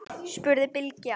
spurði Bylgja.